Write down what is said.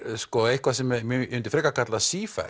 eitthvað sem ég myndi frekar kalla